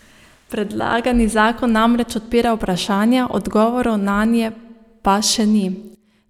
Predlagani zakon namreč odpira vprašanja, odgovorov nanje pa še ni.